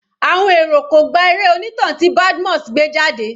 Àwọn èrò kò gba eré onítàn tí Badmus gbé jáde.